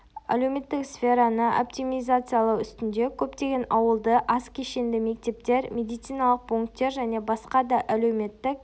әлеуметтік сфераны оптимизациялау үстінде көптеген ауылды аз кешенді мектептер медициналық пунктер және басқа да әлеуметтік